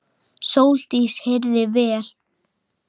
Sóldís heyrði vel.